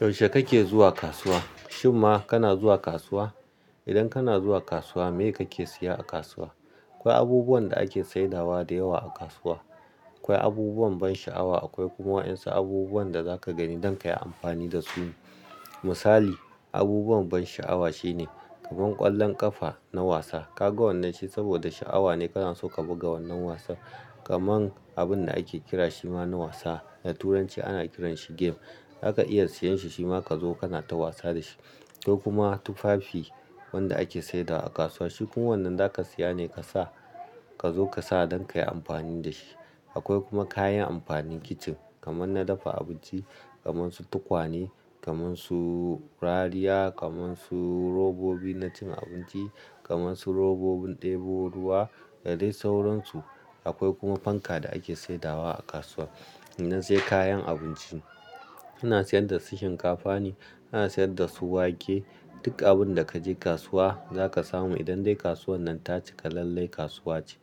Yaushe kake zuwa kasuwa? Shimma kana zuwa kasuwa? Idan kana zuwa kasuwa, me kake siya a kasuwa? Akwai abubuwan da ake saidawa da yawa a kasuwa. Akwai abubuwan ban sha'awa, akwai kuma wa'yansu abubuwan da zaka gani don kayi amfani da su. Misali, abubuwan ban sha'awa shine kaman ƙwallon ƙafa na wasa, ka ga wannan shi saboda sha'awa ne kana so ka buga wannan wasan. Kaman abun da ake kira shi ma na wasa, da turanci ana kiranshi game, aka iya siyan shi shima ka zo kana ta wasa da shi. To kuma tufafi wanda ake saidawa a kasuwa, shi kuwa wannan zaka siya ne ka sa ka zo ka sa don kayi amfani da shi. Akwai kuma kayan amfanin kicin, kaman na dafa abinci, kamansu tukwane, kamansu rariya, kamansu robobi na cin abinci, kamansu robobin ɗebo ruwa da dai sauransu. Akwai kuma fanka da ake saidawa a kasuwa. Idan sai kayan abinci, ana sayar da su shinkafa ne, ana sayar da su wake, duk abun da kaje kasuwa zaka samu. Idan dai kasuwan nan ta cika lallai kasuwa ce.